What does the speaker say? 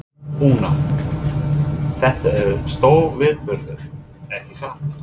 Una, þetta er stórviðburður, ekki satt?